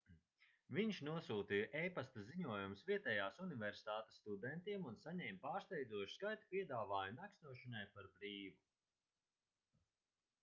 viņš nosūtīja e-pasta ziņojumus vietējās universitātes studentiem un saņēma pārsteidzošu skaitu piedāvājumu nakšņošanai par brīvu